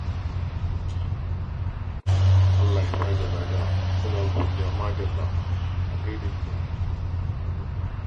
Allah ya bada lada, muna godiya madalla, a gaida gida, madalla.